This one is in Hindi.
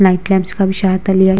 नाइट कैम्प्स का भी --